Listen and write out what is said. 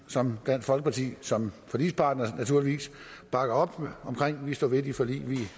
som dansk folkeparti som forligspartner naturligvis bakker op om for vi står ved de forlig